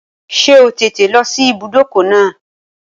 Ṣé o tètè lọ sí ibùdókọ̀ náà?